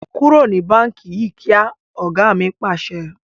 Kúrò ní báńkì yí kíá! Ọ̀gá mi Pàṣẹ.